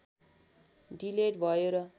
delete भयो र